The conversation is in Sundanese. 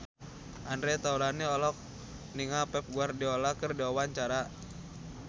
Andre Taulany olohok ningali Pep Guardiola keur diwawancara